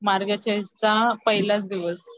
मार्गशीषचा पहिलाच दिवस.